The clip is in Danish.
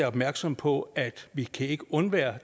opmærksomme på at vi ikke kan undvære